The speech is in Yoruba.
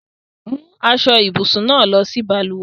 Mú aṣọ-ìbùsùn náà lọ sí balùwẹ̀!